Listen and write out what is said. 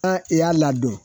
An i y'a ladon